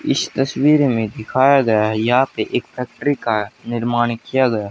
इस तस्वीर में दिखाया गया है यहां पे एक फैक्ट्री का निर्माण किया गया।